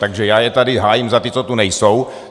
Takže já je tady hájím za ty, co tu nejsou.